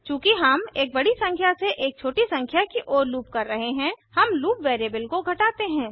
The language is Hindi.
चूँकि हम एक बड़ी संख्या से एक छोटी संख्या की ओर लूप कर रहे हैं हम लूप वैरिएबल को घटाते हैं